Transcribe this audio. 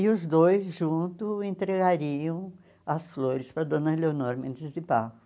E os dois juntos entregariam as flores para a dona Eleonora Mendes de Barro.